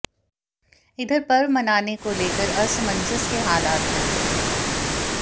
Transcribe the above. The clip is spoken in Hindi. इधर पर्व मनाने को लेकर असमंजस के हालात है